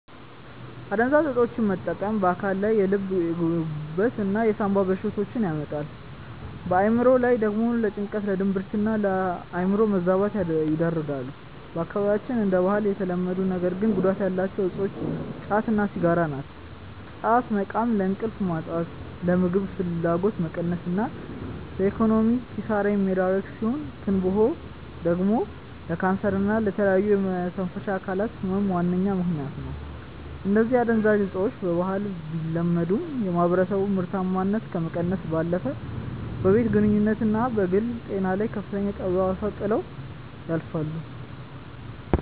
አደንዛዥ እፆችን መጠቀም በአካል ላይ የልብ፣ የጉበት እና የሳምባ በሽታዎችን ያመጣሉ፣ በአእምሮ ላይ ደግሞ ለጭንቀት፣ ለድብርትና የአእምሮ መዛባት ይዳርጋሉ። በአካባቢያችን እንደ ባህል የተለመዱ ነገር ግን ጉዳት ያላቸው እፆች ጫት እና ሲጋራ ናቸው። ጫት መቃም ለእንቅልፍ ማጣት፣ ለምግብ ፍላጎት መቀነስ እና ለኢኮኖሚያዊ ኪሳራ የሚዳርግ ሲሆን፤ ትንባሆ ደግሞ ለካንሰር እና ለተለያዩ የመተንፈሻ አካላት ህመም ዋነኛ ምከንያት ነው። እነዚህ አደንዛዥ እፆች በባህል ቢለመዱም፣ የማህበረሰቡን ምርታማነት ከመቀነስ ባለፈ በቤተሰብ ግንኙነትና በግል ጤና ላይ ከፍተኛ ጠባሳ ጥለው ያልፋሉ።